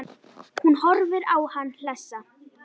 Hún horfir á hann hlessa.